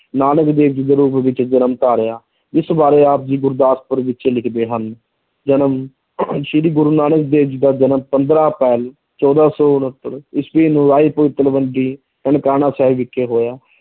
ਨਾਨਕ ਦੇਵ ਜੀ ਦੇ ਰੂਪ ਵਿੱਚ ਜਨਮ ਧਾਰਿਆ ਇਸ ਬਾਰੇ ਆਪ ਜੀ ਗੁਰਦਾਸਪੁਰ ਵਿੱਚ ਲਿਖਦੇ ਹਨ, ਜਨਮ ਸ੍ਰੀ ਗੁਰੂ ਨਾਨਕ ਦੇਵ ਜੀ ਦਾ ਜਨਮ ਪੰਦਰਾਂ ਅਪ੍ਰੈਲ ਚੌਦਾਂ ਸੌ ਉਣਤਰ ਈਸਵੀ ਨੂੰ ਰਾਇ ਭੋਇ ਤਲਵੰਡੀ ਨਨਕਾਣਾ ਸਾਹਿਬ ਵਿਖੇ ਹੋਇਆ।